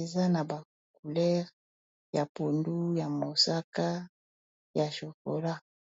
eza na bacoulere ya pundu ya mosaka ya jocola